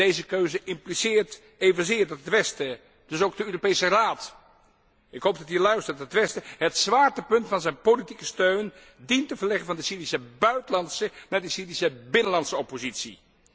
Deze keuze impliceert evenzeer dat het westen, dus ook de Europese Raad ik hoop dat hij luistert het zwaartepunt van zijn politieke steun dient te verleggen van de Syrische buitenlandse naar de Syrische binnenlandse oppositie.